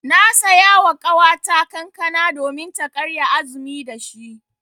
Na saya wa ƙawata kankana domin ta karya azumi da shi.